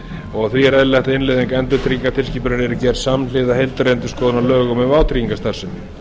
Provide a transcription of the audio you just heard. og því var eðlilegt að innleiðing endurtryggingatilskipunarinnar yrði gerð samhliða heildarendurskoðun á lögum um vátryggingastarfsemi